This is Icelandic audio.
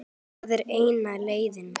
Það er eina leiðin.